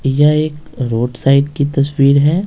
यह एक road side की तस्वीर है।